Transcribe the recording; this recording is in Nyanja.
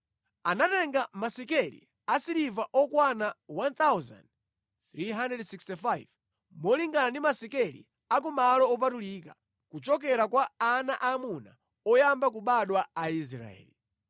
Anatenga masekeli a siliva okwana 1,365 molingana ndi masekeli a ku malo opatulika, kuchokera kwa ana aamuna oyamba kubadwa a Aisraeli.